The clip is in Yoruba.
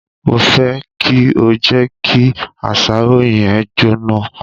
Mo fẹ kí o jẹ kí àsáró yẹn jóná.